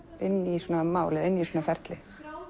inn í svona mál eða inn í svona ferli